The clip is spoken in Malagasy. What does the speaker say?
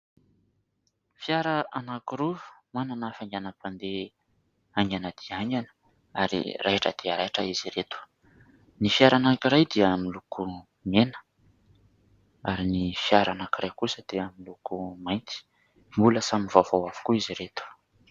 Fiara anankiroa manana hafainganam-pandeha aingana dia aingana ary rahitra dia rahitra izy ireto. Ny fiara anankiray dia miloko mena ary ny fiara anankiray kosa dia miloko mainty. Mbola samy vaovao avokoa izy ireto.